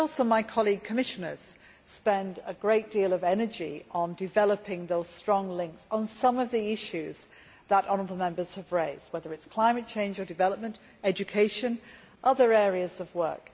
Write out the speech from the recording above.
My fellow Commissioners also spend a great deal of energy on developing those strong links on some of the issues that honourable Members have raised, whether it is climate change or development, education or other areas of work.